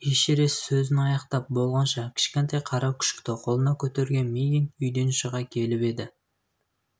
эшерест сөзін аяқтап болғанша кішкентай қара күшікті қолына көтерген мигэн үйден шыға келіп еді